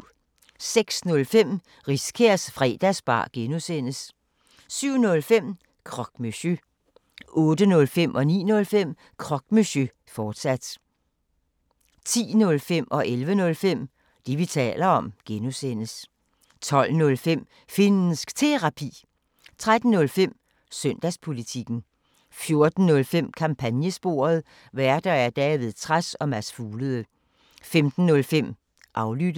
06:05: Riskærs Fredagsbar (G) 07:05: Croque Monsieur 08:05: Croque Monsieur, fortsat 09:05: Croque Monsieur, fortsat 10:05: Det, vi taler om (G) 11:05: Det, vi taler om (G) 12:05: Finnsk Terapi 13:05: Søndagspolitikken 14:05: Kampagnesporet: Værter: David Trads og Mads Fuglede 15:05: Aflyttet